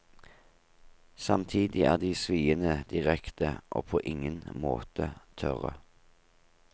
Samtidig er de sviende direkte og på ingen måte tørre.